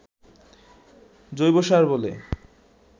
জৈবসার বলে